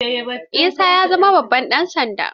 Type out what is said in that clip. Isa ya zama babban ɗan sanda.